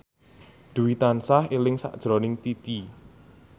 Dwi tansah eling sakjroning Titi